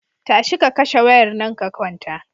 Tashi ka kashe wayar nan ka kwanta.